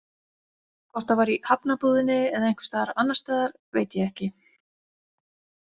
Hvort það var i Hafnarbúðinni eða einhvers staðar annars staðar veit ég ekki.